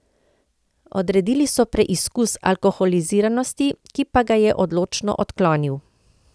Odredili so preizkus alkoholiziranosti, ki pa ga je odločno odklonil.